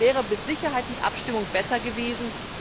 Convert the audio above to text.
Das wäre mit Sicherheit mit Abstimmung besser gewesen.